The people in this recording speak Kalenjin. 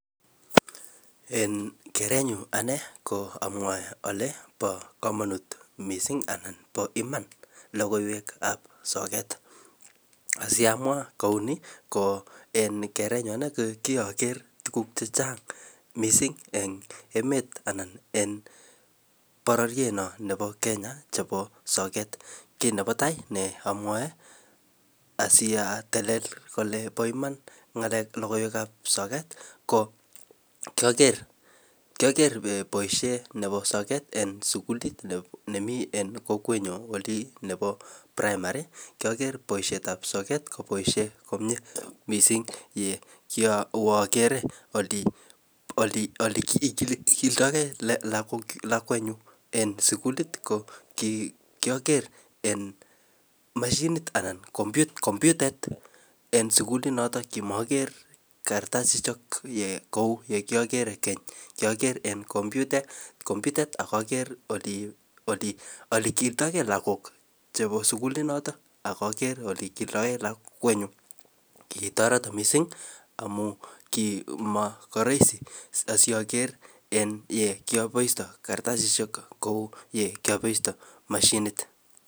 En kerenyun ane ko amwae kole pa komanut mising' anan pa iman logoiwek ab sokat, asiamwa kouni ko en kerenyun ane ko kiager tuguk chechang' mising' en emet anan pororiet no nepo Kenya chepo sokat kiy nepatai ne amwae asiatelel kole pa iman ng'alek logoiwek ab sokat ko kiager boisiet nepo sokat eng' sugulit nemii kokwenyo olin nepo primary kiager boisiet ab sokat kopaishe komnyee mising' ole kiawe agere oleikildoe gei lakwenyun en sugulit ko kiager en mashinit anan komputet en sugulit notok neki makiger kartasishek kouyon kiager en komputet akager ole kildoy gei lagok chepo sugulit notok akager ole kildoy gei lakwenyun kitoret mising' amun kimarahisi asiyager en kiapoistoy kartasishek kouyo kiapoistoy mashinit.